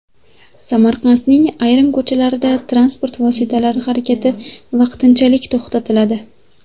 Samarqandning ayrim ko‘chalarida transport vositalari harakati vaqtinchalik to‘xtatiladi.